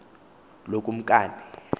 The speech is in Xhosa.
lokumkane